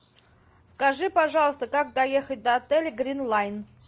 скажи пожалуйста как доехать до отеля гринлайн